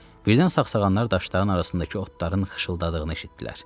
Birdən sağsağanlar daşların arasındakı otların xışıltıdığını eşitdilər.